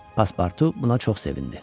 Passportu buna çox sevindi.